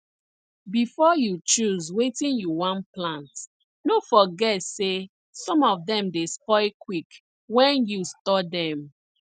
before you choose wetin you wan plant no forget say some of dem dey spoil quick wen you store dem